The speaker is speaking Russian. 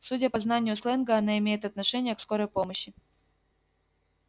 судя по знанию сленга она имеет отношение к скорой помощи